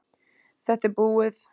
Þetta er búið